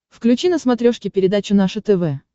включи на смотрешке передачу наше тв